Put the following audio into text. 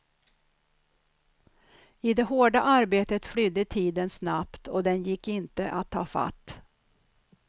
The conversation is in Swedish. I det hårda arbetet flydde tiden snabbt, och den gick inte att ta fatt.